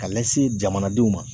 Ka lase jamanadenw ma